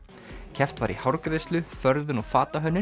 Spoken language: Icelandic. keppt var í hárgreiðslu förðun og fatahönnun